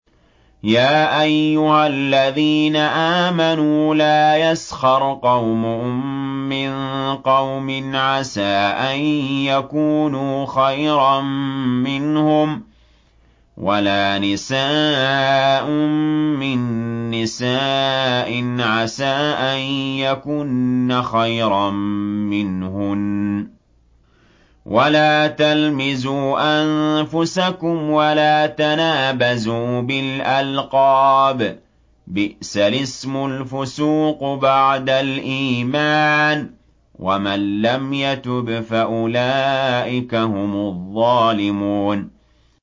يَا أَيُّهَا الَّذِينَ آمَنُوا لَا يَسْخَرْ قَوْمٌ مِّن قَوْمٍ عَسَىٰ أَن يَكُونُوا خَيْرًا مِّنْهُمْ وَلَا نِسَاءٌ مِّن نِّسَاءٍ عَسَىٰ أَن يَكُنَّ خَيْرًا مِّنْهُنَّ ۖ وَلَا تَلْمِزُوا أَنفُسَكُمْ وَلَا تَنَابَزُوا بِالْأَلْقَابِ ۖ بِئْسَ الِاسْمُ الْفُسُوقُ بَعْدَ الْإِيمَانِ ۚ وَمَن لَّمْ يَتُبْ فَأُولَٰئِكَ هُمُ الظَّالِمُونَ